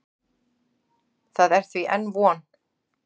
Það er því enn von.